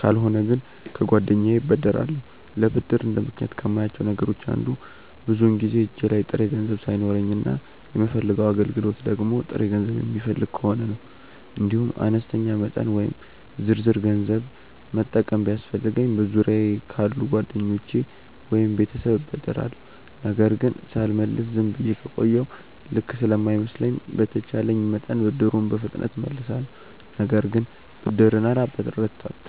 ካልሆነ ግን ከጓደኛዬ እበደራለሁ። ለብድር እንደ ምክንያት ከማያቸው ነገሮች አንዱ ብዙውን ጊዜ እጄ ላይ ጥሬ ገንዘብ ሳይኖረኝ እና የምፈልገው አገልግሎት ደግሞ ጥሬ ገንዘብ የሚፈልግ ከሆነ ነው። እንዲሁም አነስተኛ መጠን ወይም ዝርዝር ገንዘብ መጠቀም ቢያስፈልገኝ በዙሪያየ ካሉ ጓደኞቼ ወይም ቤተሰብ እበደራለሁ። ነገር ግን ሳልመልስ ዝም ብዬ ከቆየሁ ልክ ስለማይመስለኝ በተቼለኝ መጠን ብድሩን በፍጥነት እመልሳለሁ። ነገር ግን ብድርን አላበረታታም።